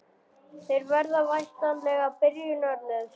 Þeir verða væntanlega byrjunarliðsmenn?